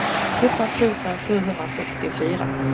sjutton tusen sjuhundrasextiofyra